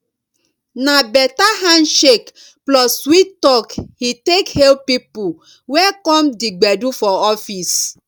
na better handshake plus sweet talk he take hail people wey come di gbedu for office